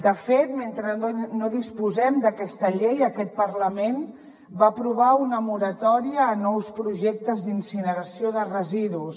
de fet mentre no disposem d’aquesta llei aquest parlament va aprovar una moratòria a nous projectes d’incineració de residus